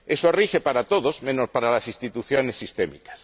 Eso rige para todos menos para las instituciones sistémicas.